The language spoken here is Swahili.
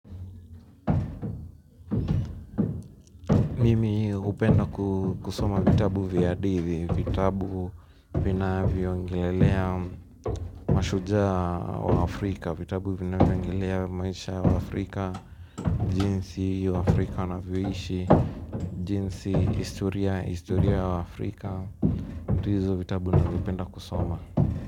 Mimi hupenda kusoma vitabu vya hadithi, vitabu vinavyozungumzia mashujaa wa Afrika, vitabu vinavyozungumzia maisha ya waafrika. Jinsi Waafrika wanavyoishi, jinsi historia, historia ya Afrika. Ndio hizo vitabu nipenda kusoma.